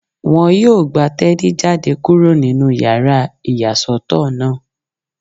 Wọ́n yóò gba Teni jáde kúrò nínú yàrá ìyàsọ́tọ̀ náà